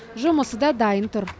жұмысы да дайын тұр